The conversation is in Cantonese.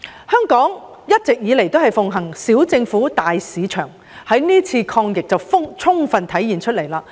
香港一直以來奉行"小政府，大市場"，這點可在是次抗疫中充分體現到。